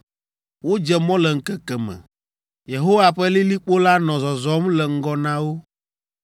Wodze mɔ le ŋkeke me. Yehowa ƒe lilikpo la nɔ zɔzɔm le ŋgɔ na wo.